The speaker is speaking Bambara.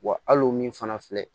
Wa hali o min fana filɛ